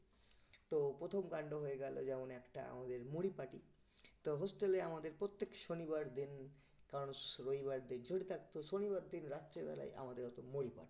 তো প্রথম কান্ড হয়ে গেল যেমন একটা আমাদের মুড়ি party তো hostel এ আমাদের প্রত্যেক শনিবার then যে থাকতো শনিবার দিন রাত্রিবেলায় আমাদের হতো মুড়ি party